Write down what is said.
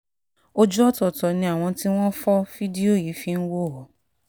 ojú ọ̀tọ̀ọ̀tọ̀ ni àwọn tí wọ́n fọ́ fídíò yìí fi ń wò ó